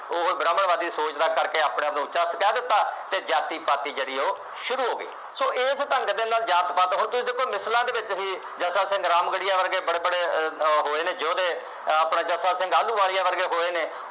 ਉੱਪਰਵਾਦੀ ਸੋਚ ਦਾ ਕਰਕੇ ਆਪਣੇ ਆਪ ਨੂੰ ਉੱਚਾ ਕਹਿ ਦਿੱਤਾ ਅਤੇ ਜਾਤੀ ਪਾਤੀ ਜਿਹੜੀ ਉਹ ਸ਼ੁਰੂ ਹੋ ਗਈ। ਸੋ ਇਸ ਢੰਗ ਦੇ ਨਾਲ ਜਾਤ ਪਾਤ, ਹੁਣ ਤੁਸੀ ਦੇਖੋ ਮਿਸਲਾਂ ਦੇ ਵਿੱਚ ਹੀ ਜੇਸਾ ਸੰਗਰਾਮਗੜ੍ਹੀਏ ਵਰਗੇ ਬੜੇ ਬੜੇ ਅਹ ਹੋਏ ਨੇ ਯੋਧੇ, ਅਹ ਆਪਣਾ ਚੱਬਾ ਸਿੰਘ ਆਹਲੂਵਾਲੀਆ ਵਰਗੇ ਹੋਏ ਨੇ,